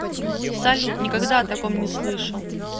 салют никогда о таком не слышал